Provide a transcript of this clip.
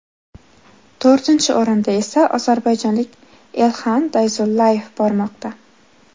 To‘rtinchi o‘rinda esa ozarbayjonlik Elxan Dayzullayev bormoqda.